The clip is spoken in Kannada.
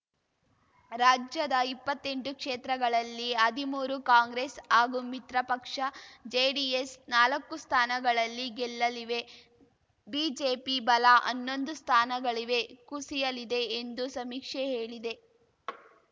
ರಾಜ್ಯದ ಇಪ್ಪತ್ತೆಂಟು ಕ್ಷೇತ್ರಗಳಲ್ಲಿ ಹದ್ಮೂರು ಕಾಂಗ್ರೆಸ್‌ ಹಾಗೂ ಮಿತ್ರಪಕ್ಷ ಜೆಡಿಎಸ್‌ ನಾಲ್ಕು ಸ್ಥಾನಗಳಲ್ಲಿ ಗೆಲ್ಲಲಿವೆ ಬಿಜೆಪಿ ಬಲ ಹನ್ನೊಂದು ಸ್ಥಾನಗಳಿವೆ ಕುಸಿಯಲಿದೆ ಎಂದು ಸಮೀಕ್ಷೆ ಹೇಳಿದೆ